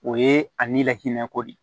O ye a ni lahinɛko de ye